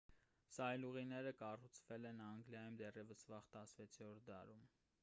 սայլուղիները կառուցվել են անգլիայում դեռևս վաղ 16-րդ դարում